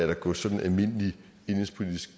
der går sådan almindelig indenrigspolitisk